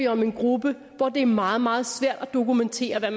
om en gruppe for hvem det er meget meget svært at dokumentere hvad